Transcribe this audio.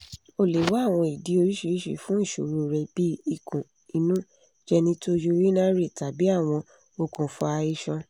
o le wa awọn idi oriṣiriṣi fun iṣoro rẹ bii ikun-inu genitourinary tabi awọn okunfa iṣan